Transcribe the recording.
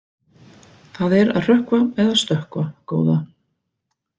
Það er að hrökkva eða stökkva, góða.